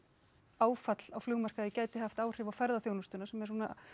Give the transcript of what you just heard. áfall á flugmarkaði gæti haft áhrif á ferðaþjónustuna sem er svona